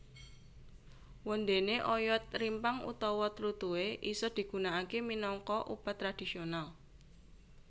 Wondéné oyot rimpang utawa tlutuhé isa digunakaké minangka obat tradisional